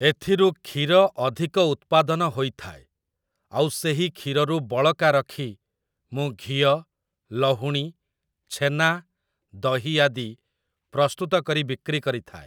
ଏଥିରୁ କ୍ଷୀର ଅଧିକ ଉତ୍ପାଦନ ହୋଇଥାଏ, ଆଉ ସେହି କ୍ଷୀରରୁ ବଳକା ରଖି ମୁଁ ଘିଅ, ଲହୁଣୀ, ଛେନା, ଦହି ଆଦି ପ୍ରସ୍ତୁତ କରି ବିକ୍ରି କରିଥାଏ ।